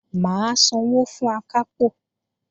Mà á sanwó fún Akápò